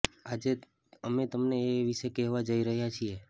આજે અમે તમને એ વિશે કહેવા જઇ રહ્યાં છીએ